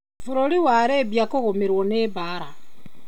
Bũrũri wa Libya kugumĩrwa nĩ mbara